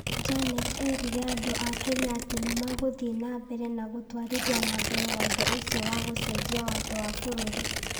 Junet erire andũ a Kenya atĩ nĩmagũthiĩ na mbere na gũtwarithia na mbere watho ũcio wa gũcenjia watho wa bũrũri